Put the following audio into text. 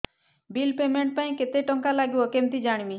bill payment ପାଇଁ କେତେ କେତେ ଟଙ୍କା ଲାଗିବ କେମିତି ଜାଣିବି